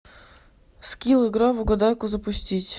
скилл игра в угадайку запустить